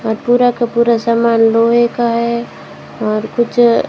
और पूरा का पूरा सामान लोहे का है और कुछ--